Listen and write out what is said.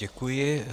Děkuji.